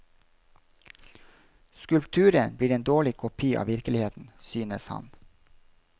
Skulpturen blir en dårlig kopi av virkeligheten, synes han.